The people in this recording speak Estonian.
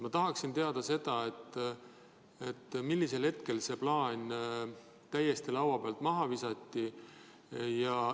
Ma tahaksin teada, mis hetkel see plaan täiesti laua pealt maha visati.